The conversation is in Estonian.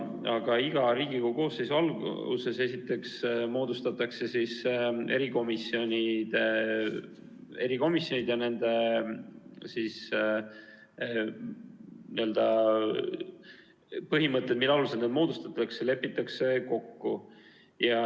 Aga iga Riigikogu koosseisu alguses moodustatakse erikomisjonid ja põhimõtted, mille alusel need moodustatakse, lepitakse kokku.